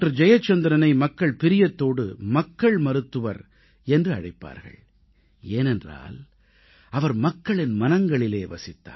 ஜெயச்சந்திரனை மக்கள் பிரியத்தோடு மக்கள் மருத்துவர் என்று அழைப்பார்கள் ஏனென்றால் அவர் மக்களின் மனங்களிலே வசித்தார்